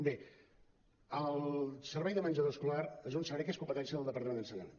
bé el servei de menjador escolar és un servei que és competència del departament d’ensenyament